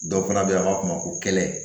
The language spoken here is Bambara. Dɔw fana bɛ yen a b'a f'a ma ko kɛlɛ